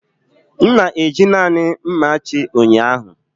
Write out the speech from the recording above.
M na-eji naanị mmachi ụnyaahụ.